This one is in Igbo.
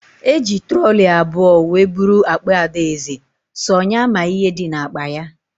Eji trọlị abụọ wee bụrụ akpa Adaeze, sọ nya ma ihe dị na akpa ya